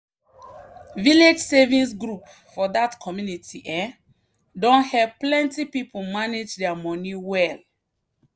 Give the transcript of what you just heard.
village savings group for that community um don help plenty people manage their money well.